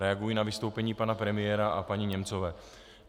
Reaguji na vystoupení pana premiéra a paní Němcové.